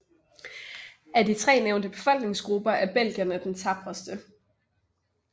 Af de tre nævnte befolkningsgrupper er belgerne de tapreste